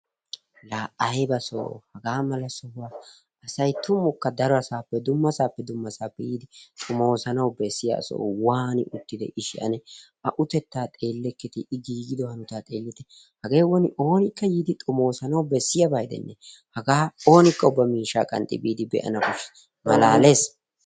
Laa ayba sohoo! hagaa mala sohuwa asay tumukka darosappe dummasaappe dummasaappe yiidi xomoosanawu bessiya soho. waani uttide ishshi ane? A utetta xeelleketii I giigido hanotaa xeellite hagee woni oonika yiidi xomosanawu bessiyaba gidenne hagaa oonikka ubba miishshaa qanxxi biidi be'anaw koshshees. malaales!